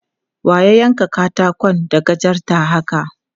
Wa ya yanka katakon da gajarta haka?